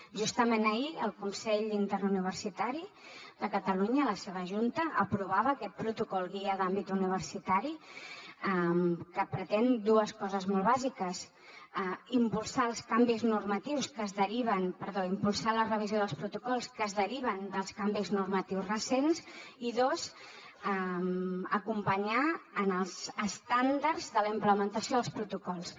justament ahir el consell interuniversitari de catalunya la seva junta aprovava aquest protocol guia d’àmbit universitari que pretén dues coses molt bàsiques impulsar la revisió dels protocols que es deriven dels canvis normatius recents i dos acompanyar en els estàndards de la implementació dels protocols